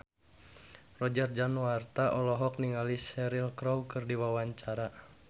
Roger Danuarta olohok ningali Cheryl Crow keur diwawancara